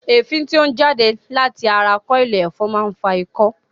Èéfín tí ó ń jáde láti ara kọ́ọ̀ìlì ẹ̀fọn máa ń fa ikọ́